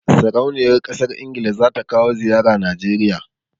Sarauniyar ƙasar Ingila za ta kawo ziyara Najeriya.